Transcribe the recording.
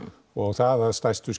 það að stærstu